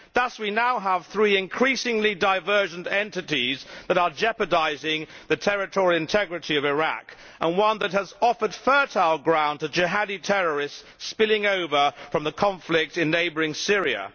Thus we now have three increasingly divergent entities that are jeopardising the territorial integrity of Iraq and one that has offered fertile ground to jihadi terrorists spilling over from the conflict in neighbouring Syria.